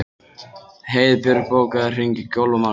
Heiðbjörg, bókaðu hring í golf á mánudaginn.